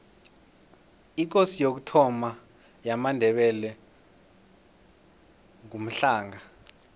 ikosi yokuthoma yamandebele ngumhlanga